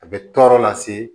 A bɛ tɔɔrɔ lase